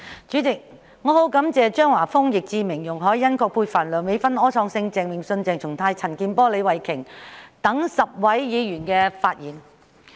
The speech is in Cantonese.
主席，我很感謝張華峰議員、易志明議員、容海恩議員、葛珮帆議員、梁美芬議員、柯創盛議員、鄭泳舜議員、鄭松泰議員、陳健波議員及李慧琼議員10位議員的發言。